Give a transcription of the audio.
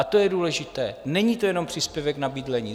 A to je důležité, není to jenom příspěvek na bydlení.